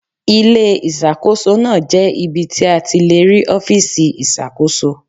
Ilé Ìṣàkóso náà jẹ́ ibi tí a ti le rí ọfiisi iṣakoso